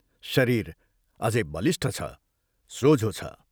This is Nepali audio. शरीर अझै बलिष्ठ छ सोझो छ।